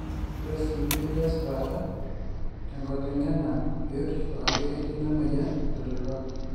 ore sii metii esipata te enkotengena biotisho ajo ketii ina moyian entalipa